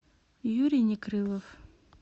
юрий некрылов